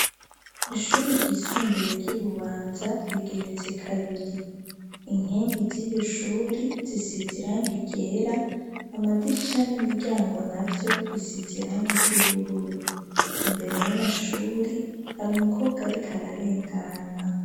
Ishure ryisumbuye ry'ibubanza rigeretse kabiri inkengi z'iyo shuri zisiziranga igera amadirisha n'imiryango na byo bisiziranga iry'ubururu imbere y'amashuri hari umukobwa arikararengana.